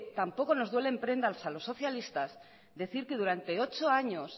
tampoco nos duelen prendas a los socialistas decir que durante ocho años